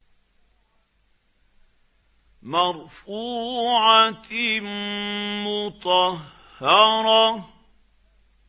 مَّرْفُوعَةٍ مُّطَهَّرَةٍ